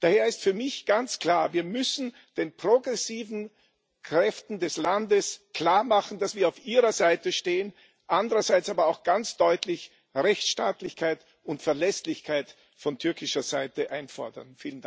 Daher ist für mich ganz klar Wir müssen den progressiven Kräften des Landes klarmachen, dass wir auf ihrer Seite stehen, andererseits aber auch ganz deutlich Rechtsstaatlichkeit und Verlässlichkeit von türkischer Seite einfordern.